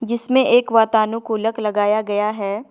जिसमें एक वातानुकूलक लगाया गया है।